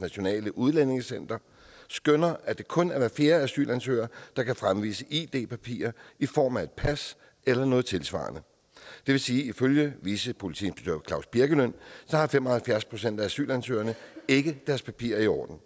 nationalt udlændingecenter skønner at det kun er hver fjerde asylansøger der kan fremvise id papirer i form af et pas eller noget tilsvarende det vil sige at ifølge vicepolitiinspektør claus birkelund har fem og halvfjerds procent af asylansøgerne ikke deres papirer i orden